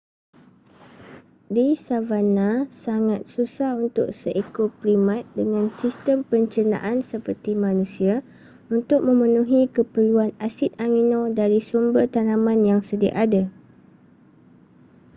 di savanna sangat susah untuk seekor primat dengan sistem pencernaan seperti manusia untuk memenuhi keperluan asid amino dari sumber tanaman yang sedia ada